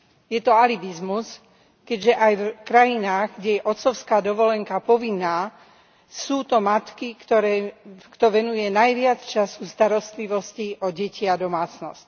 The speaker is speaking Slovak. Je to alibizmus, keďže aj v krajinách, kde je otcovská dovolenka povinná, sú to matky, kto venuje najviac času starostlivosti o deti a domácnosť.